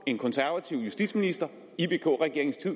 en konservativ justitsminister i vk regeringens tid